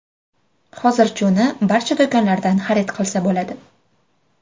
Hozir uni barcha do‘konlardan xarid qilsa bo‘ladi.